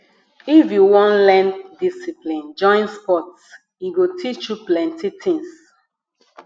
if you wan learn discipline join sports e go teach you plenty tins